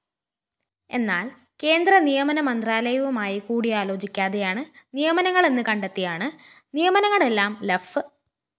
എന്നാല്‍ കേന്ദ്രനിയമ മന്ത്രാലയവുമായി കൂടിയാലോചിക്കാതെയാണ് നിയമനങ്ങളെന്ന് കണ്ടെത്തിയാണ് നിയമനങ്ങളെല്ലാം ലഫ്